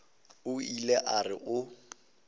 o ile a re o